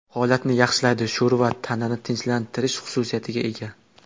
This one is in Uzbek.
Holatni yaxshilaydi Sho‘rva tanani tinchlantirish xususiyatiga ega.